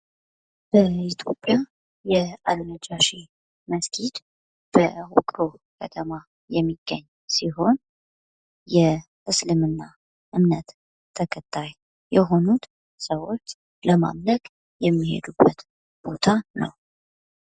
በኢትዮጵያ አልነጃሺ መስጊድ በዉቅሮ ከተማ የሚገኝ ሲሆን የእስልምና እምነት ተከታይ የሆኑት ሰዎች ለማምለክ የሚሄዱበት ነዉ።